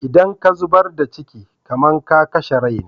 Idan ka zubar da ciki, kamar ka kashe rai ne.